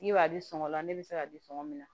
Ne b'a di sɔngɔ la ne be se k'a di sɔngɔ min na